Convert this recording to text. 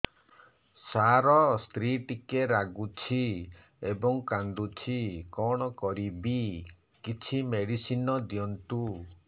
ସାର ସ୍ତ୍ରୀ ଟିକେ ରାଗୁଛି ଏବଂ କାନ୍ଦୁଛି କଣ କରିବି କିଛି ମେଡିସିନ ଦିଅନ୍ତୁ